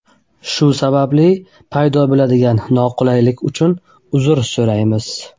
Shu sababli paydo bo‘ladigan noqulaylik uchun uzr so‘raymiz!